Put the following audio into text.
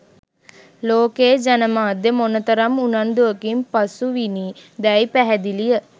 ලෝකයේ ජනමාධ්‍ය මොන තරම් උනන්දුවකින් පසුවිණි දැයි පැහැදිලිය